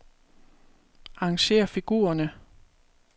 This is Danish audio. Arrangér figurerne.